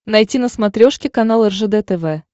найти на смотрешке канал ржд тв